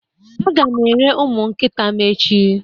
Aga m ere ụmụ nkịta m echiạ